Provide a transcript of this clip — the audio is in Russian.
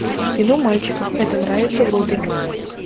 кино мальчикам это нравится вруби